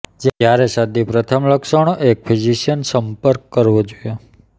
જ્યારે શરદી પ્રથમ લક્ષણો એક ફિઝિશિયન સંપર્ક કરવો જોઈએ